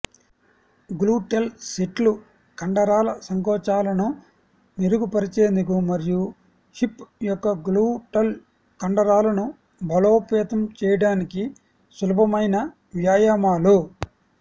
gluteal సెట్లు కండరాల సంకోచాలను మెరుగుపరిచేందుకు మరియు హిప్ యొక్క గ్లూటల్ కండరాలను బలోపేతం చేయడానికి సులభమైన వ్యాయామాలు